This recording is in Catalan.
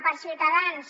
per a ciutadans